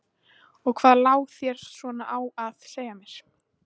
Og hvað lá þér svona á að segja mér?